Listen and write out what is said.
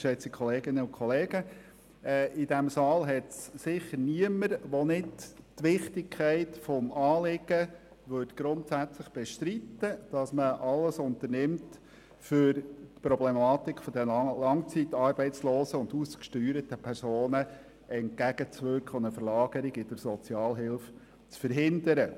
In diesem Saal gibt es sicher niemanden, der die Wichtigkeit des Anliegens grundsätzlich bestreiten würde, dass man alles unternimmt, um der Problematik der langzeitarbeitslosen und ausgesteuerten Personen entgegenzuwirken und eine Verlagerung in die Sozialhilfe zu verhindern.